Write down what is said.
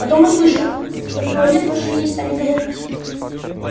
потом услышала что в туалет вошли и стали говорить